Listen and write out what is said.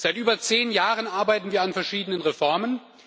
Seit über zehn Jahren arbeiten wir an verschiedenen Reformen.